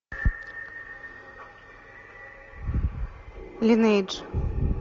линейдж